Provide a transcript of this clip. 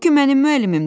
Bu ki mənim müəllimimdir.